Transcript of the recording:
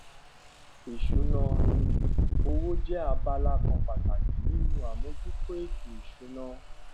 ìṣúná oye owó jẹ abala kan pàtàkì nínú àmójútó ètò ìsúná